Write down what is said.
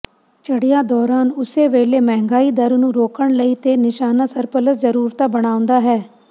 ਚੜਿਆ ਦੌਰਾਨ ਉਸੇ ਵੇਲੇ ਮਹਿੰਗਾਈ ਦਰ ਨੂੰ ਰੋਕਣ ਲਈ ਤੇ ਨਿਸ਼ਾਨਾ ਸਰਪਲਸ ਜਰੂਰਤਾ ਬਣਾਉਦਾ ਹੈ